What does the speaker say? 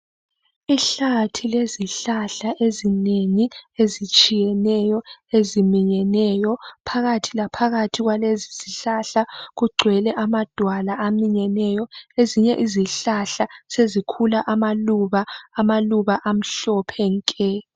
Ihlathi lezihlahla ezinengi ezitshiyeneyo, eziminyeneyo. Phakathi laphakathi kwalezi zihlahla kugcwele amadwala aminyeneyo. Ezinye izihlahla sezikhula amaluba, amaluba amhlophe nke.